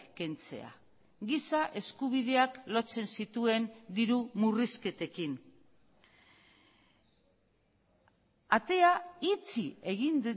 kentzea giza eskubideak lotzen zituen diru murrizketekin atea itxi egin